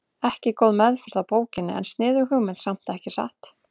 Ekki góð meðferð á bókinni en sniðug hugmynd samt, ekki satt?